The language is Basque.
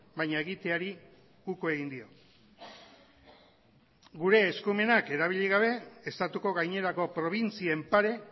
baina egiteari uko egin dio gure eskumenak erabili gabe estatuko gainerako probintzien pare